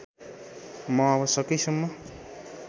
म अब सकेसम्म